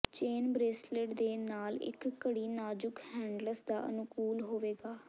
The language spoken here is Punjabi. ਚੇਨ ਬ੍ਰੇਸਲੇਟ ਦੇ ਨਾਲ ਇੱਕ ਘੜੀ ਨਾਜ਼ੁਕ ਹੈਂਡਲਸ ਦਾ ਅਨੁਕੂਲ ਹੋਵੇਗਾ